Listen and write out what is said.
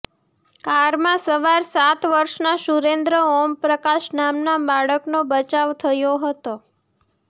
કારમાં સવાર સાત વર્ષના સુરેન્દ્ર ઓમપ્રકાશ નામના બાળકનો બચાવ થયો હતો